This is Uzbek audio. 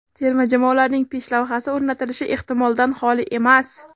Terma jamoalarning peshlavhasi o‘rnatilishi ehtimoldan xoli emas.